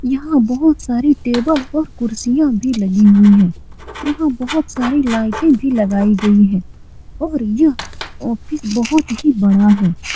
यहाँ बहुत सारे टेबल और कुर्सियाँ भी लगी हुई हैं यहाँ बहुत सारी लाइटें भी लगाई गई है और यह ऑफिस बहुत ही बड़ा है।